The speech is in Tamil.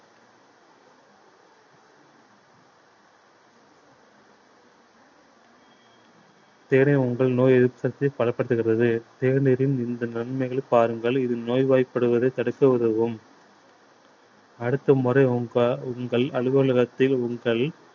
தேநீர் உங்கள் நோய் எதிர்ப்பு சக்தியை பலப்படுத்துகிறது தேநீரின் இந்த நன்மைகளை பாருங்கள் இது நோய்வாய்ப்படுவதை தடுக்க உதவும் அடுத்த முறை உங்க~ உங்கள் அலுவலகத்தில் உங்கள்